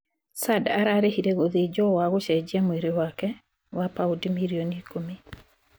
Sadd ararĩhire gũthĩnjwo wa gũcejia mwĩri wake wa paundi mirioni ĩkũmi